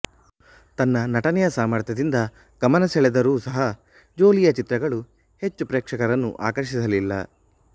ತನ್ನ ನಟನೆಯ ಸಾಮರ್ಥ್ಯದಿಂದ ಗಮನ ಸೆಳೆದರೂ ಸಹ ಜೋಲೀಯ ಚಿತ್ರಗಳು ಹೆಚ್ಚು ಪ್ರೇಕ್ಷಕರನ್ನು ಆಕರ್ಷಿಸಲಿಲ್ಲ